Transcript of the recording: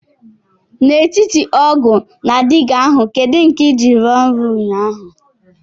N'etiti ọgu na digá ahu kedu nke i ji ruo oru ụnyahụ?